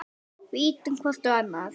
Við ýtum hvor á annan.